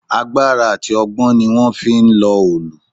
Agbára àti ọgbọ́n ni wón fi ń lọ òòlù.